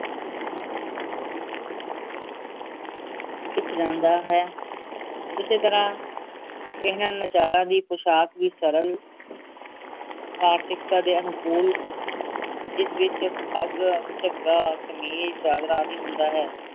ਸਿੱਖ ਜਾਂਦਾ ਹੈ ਇਸੇ ਤਰਾਹ ਇਹ ਨਚਾਰਾਂ ਦੀ ਪੋਸ਼ਾਕ ਵੀ ਸਰਲ ਦੇ ਅਨੁਕੂਲ ਜਿਸ ਵਿਚ ਪੱਗ ਝੱਗਾ ਕਮੀਜ ਚਾਦਰਾ ਆਦਿ ਹੁੰਦਾ ਹੈ